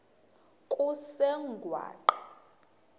kusengwaqa